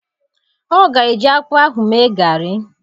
Ọ ga-eji akpụ ahụ mee garị.